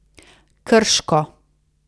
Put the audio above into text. Krško.